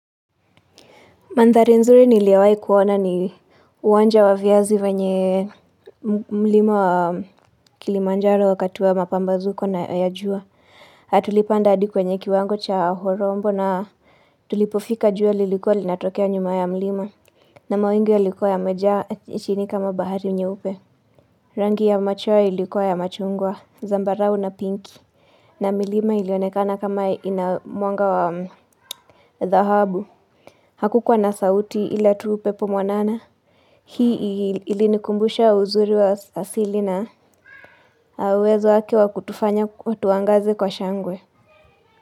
Mandhari nzuri niliyowai kuona ni uwanja wa viazi wenye mlima wa kilimanjaro wakati wa mapambazuko na ya jua. Na tulipanda hadi kwenye kiwango cha horombo na tulipofika jua lilikua linatokea nyuma ya mlima. Na mawingu yalikua yamejaa chini kama bahari nyeupe. Rangi ya machoa ilikua ya machungwa, zambarau na pinki. Na milima ilionekana kama ina mwanga wa dhahabu. Hakukuwa na sauti ila tu upepo mwanana Hii ilinikumbusha uzuri wa asili na uwezo wake wa kutufanya tuangaze kwa shangwe.